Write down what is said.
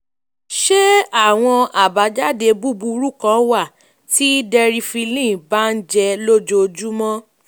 ṣé àwọn um àbájáde búburú kan wà um tí deriphyllin bá ń jẹ́ lójoojúmọ́?